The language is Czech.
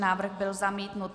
Návrh byl zamítnut.